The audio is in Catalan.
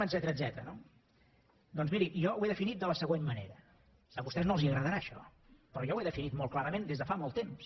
etcètera no doncs miri jo ho he definit de la següent manera a vostès no els agradarà això però jo ho he definit molt clarament des de fa molt temps